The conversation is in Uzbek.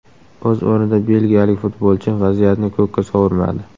O‘z o‘rnida belgiyalik futbolchi vaziyatni ko‘kka sovurmadi.